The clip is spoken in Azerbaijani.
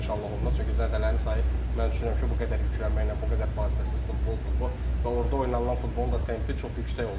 İnşallah olmaz, çünki zədələrin sayı mən düşünürəm ki, bu qədər yüklənməklə, bu qədər fasiləsiz futbol, futbol və orda oynanılan futbolun da tempi çox yüksək olur.